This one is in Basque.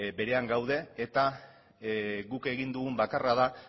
berean gaude eta guk egin dugun bakarra da